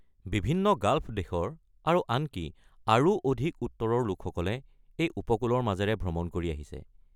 বিভিন্ন গাল্ফ দেশৰ আৰু আনকি আৰু অধিক উত্তৰৰ লোকসকলে এই উপকূলৰ মাজেৰে ভ্ৰমণ কৰি আহিছে।